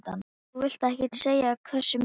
Þú vilt ekkert segja hversu mikið?